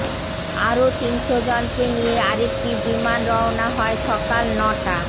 আরও তিনশো জনকে নিয়ে আরেকটি বিমান রওনা হয় সকাল নটা